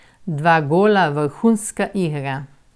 Dva gola, vrhunska igra...